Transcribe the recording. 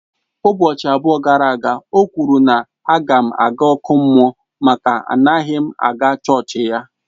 Ụbọchị abụọ gara aga, o kwuru na á ga m aga ọkụ mmụọ maka anaghị m aga chọọchị ya.